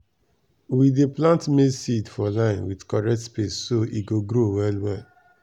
we dey plant maize seed for line with correct space so e go grow well.